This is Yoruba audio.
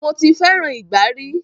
Mo ti fẹràn ìgbá ri.